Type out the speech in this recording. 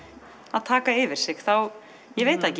að taka yfir sig þá ég veit það ekki